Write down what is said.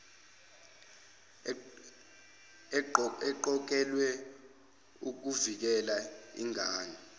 eqokelwe ukuvikela ingane